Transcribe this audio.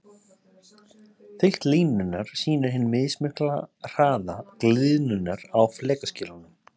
Þykkt línunnar sýnir hinn mismikla hraða gliðnunarinnar á flekaskilunum.